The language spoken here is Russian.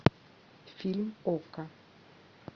фильм окко